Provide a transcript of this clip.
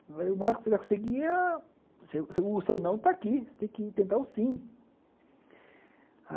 Eu falei, o máximo que você vai conseguir é... o seu seu não está aqui, você tem que tentar o sim.